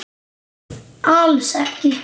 Alls ekki!